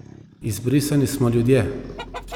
Izbrisani smo ljudje.